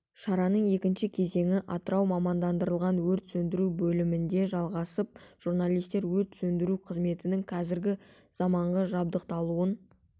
шараның екінші кезеңі атырау мамандандырылған өрт сөндіру бөлімінде жалғасып журналистер өрт сөндіру қызметінің қазіргі заманғы жабдықталуын